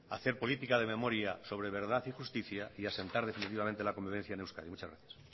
hacer política de memoria sobre verdad y justicia y asentar definitivamente la convivencia en euskadi muchas gracias